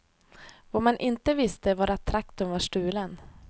Vad man inte visste var att traktorn var stulen.